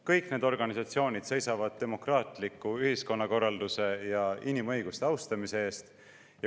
Kõik need organisatsioonid seisavad demokraatliku ühiskonnakorralduse ja inimõiguste austamise eest.